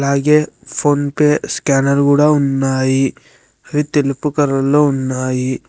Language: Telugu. ఫోన్ పే స్కానర్ కూడా ఉన్నాయి అవి తెలుపు కలర్ లో ఉన్నాయి.